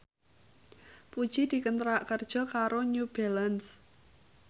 Puji dikontrak kerja karo New Balance